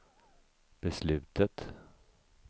beslutet